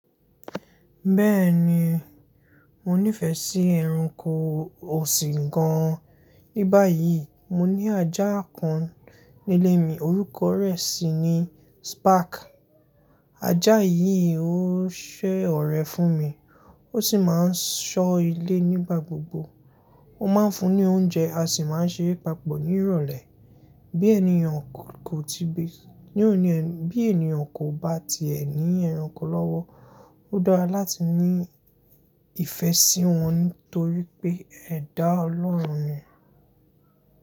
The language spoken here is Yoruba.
Bẹ́ẹ̀ni, mo nífẹ̀ẹ́ sí ẹranko ọ̀sìn gan an. Ní báyìí mo ní ajá kan nílé mi, orúkọ rẹ̀ sì ni Spark. Ajá yìí ó sẹ́ ọ̀rẹ́ fún mi, ó sì máa ń ṣọ́ ilé nígbà gbogbo. Ó máa ń fún ní oúnjẹ, a sì máa ń ṣe eré papọ̀ ní ìrọ̀lẹ́. Bí ènìyàn kò bá ti è ní ẹranko lọ́wọ́, ó dára láti ní ìfẹ́ sí wọn nítorí pé ẹ dá Ọlọ́run ni.